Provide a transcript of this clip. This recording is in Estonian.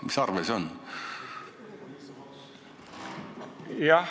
Mis arve see on?